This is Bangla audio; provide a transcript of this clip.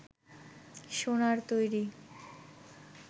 সোনার তৈরি